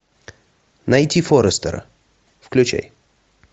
найти форестера включай